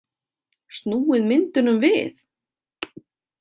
Snúið myndunum við?